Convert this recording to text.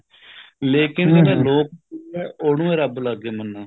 ਲੇਕਿਨ ਲੋਕ ਉਹਨੂੰ ਹੀ ਰੱਬ ਲੱਗ ਗਏ ਮੰਨਣ